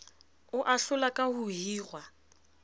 ho ahlola ka ho hirwa